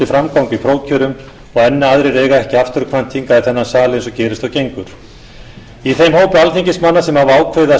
framgang í prófkjörum og enn aðrir eiga ekki afturkvæmt hingað í þennan sal eins og gerist og gengur í þeim hópi alþingismanna sem hafa ákveðið að